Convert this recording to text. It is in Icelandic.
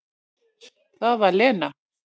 Það var Lena.